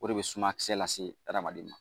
O de bɛ sumayakisɛ lase hadamaden ma.